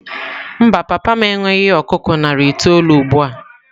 Mba, papa m enweghị ọkụkọ narị itoolu ugbu a.